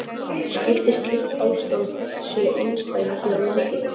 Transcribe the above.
Skyldi slíkt ástand sé einsdæmi hér á landi?